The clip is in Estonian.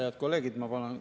Head kolleegid!